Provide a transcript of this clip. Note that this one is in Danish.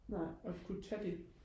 nej og kunne tage det